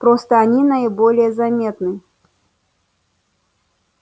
просто они наиболее заметны